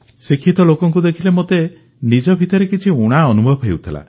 ଶିକ୍ଷିତ ଲୋକଙ୍କୁ ଦେଖିଲେ ମୋତେ ନିଜ ଭିତରେ କିଛି ଊଣା ଅନୁଭବ ହେଉଥିଲା